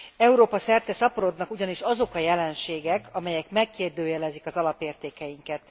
Európa szerte szaporodnak ugyanis azok a jelenségek, amelyek megkérdőjelezik az alapértékeinket.